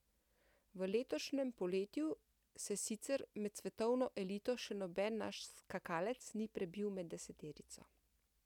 V letošnjem poletju se sicer med svetovno elito še noben naš skakalec ni prebil med deseterico.